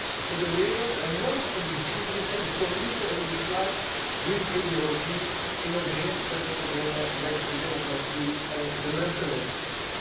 Nergens in de wereld en nooit in de geschiedenis zijn de communisten erin geslaagd hun ideologie in overeenstemming te brengen met de democratie en de mensenrechten.